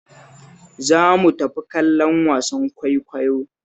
Zo mu tafi kallon wasan kwaikwayo